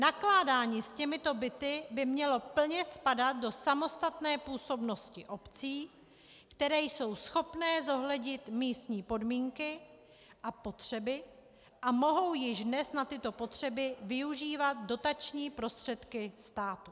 Nakládání s těmito byty by mělo plně spadat do samostatné působnosti obcí, které jsou schopné zohlednit místní podmínky a potřeby a mohou již dnes na tyto potřeby využívat dotační prostředky státu.